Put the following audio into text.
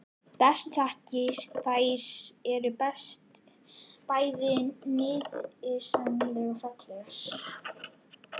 Bestu þakkir- þær eru bæði nytsamlegar og fallegar.